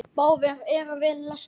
Báðir eru vel lesnir.